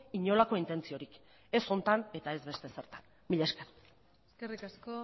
inolako intentziorik ez honetan eta ez beste ezertan mila esker eskerrik asko